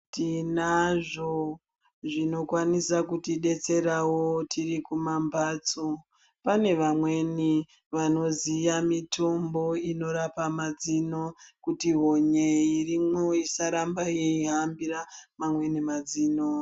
Tinazvo zvinokwanisa kuti detserawo tiri kumambatso pane vamweni vanoziya mitombo inorapa mazino kuti honye irimwo isaramba yeihambira mamweni mazino.